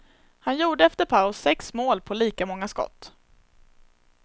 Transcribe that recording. Han gjorde efter paus sex mål på lika många skott.